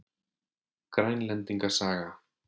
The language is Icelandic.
Grænlendinga saga.